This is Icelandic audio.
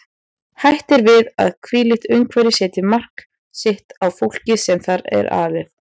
Hætt er við að þvílíkt umhverfi setji mark sitt á fólkið sem þar er alið.